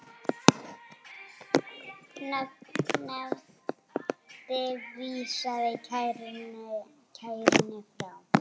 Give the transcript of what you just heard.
Nefndin vísaði kærunni frá.